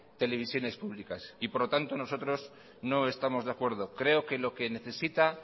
televisiones públicas por lo tanto nosotros no estamos de acuerdo creo que lo que necesita